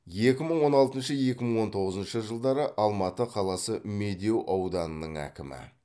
екі мың он алтыншы екі мың он тоғызыншы жылдары алматы қаласы медеу ауданының әкімі